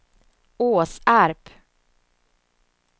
Åsarp